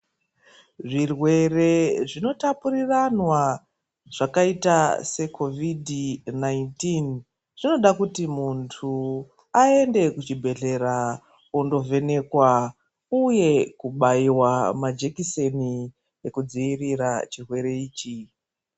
Zvirwere zvinotapuriranwa zvakaita seCovid 19 zvinoda kuti muntu aende kuchibhedhlera ondovhenekwa uye kubaiwa majekiseni ekudzivirira chirwere ichi.